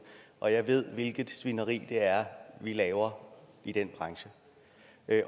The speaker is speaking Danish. og jeg ved hvilket svineri vi laver i den branche